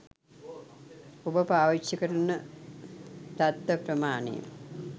ඔබ පාවිච්චි කරන දත්ත ප්‍රමාණය